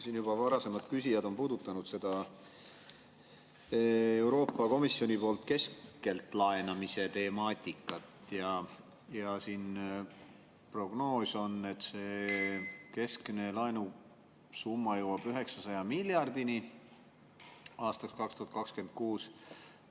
Siin juba varasemad küsijad on puudutanud Euroopa Komisjoni keskselt laenamise temaatikat, ja prognoos on, et see keskmine laenusumma jõuab 900 miljardini aastaks 2026.